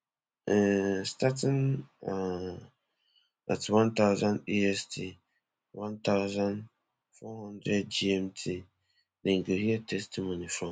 um starting um at one thousand est one thousand, four hundred gmt dem go hear testimony from